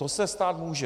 To se stát může.